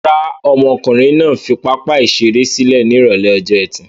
Rárá, ọmọkùnrin náà fi pápá-ìṣeré sílẹ̀ ní ìrọ́lẹ́ ọjọ́ ẹtì.